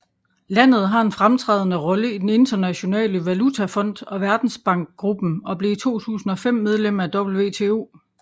Landet har en fremtrædende rolle i den Internationale Valutafond og Verdensbankgruppen og blev i 2005 medlem af WTO